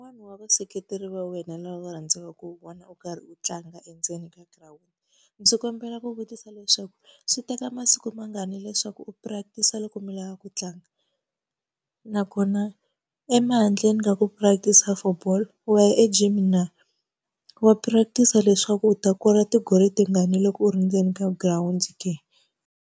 Wa vaseketeri va wena lava u nga rhandzaka ku va vona u karhi u tlanga endzeni ka girawundi. ndzi kombela ku vutisa leswaku swi teka masiku mangani leswaku u practice-a loko mi lava ku tlanga? Nakona handleni ka ku practice-a for ball, wa ya e gym na? Wa practice-a leswaku u ta kora ti-goal tingani loko u ri ndzeni ka girawundi ke?